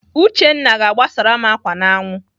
Uchenna ga-agbasara m ákwà n'anwụ.